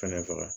Fɛnɛ faga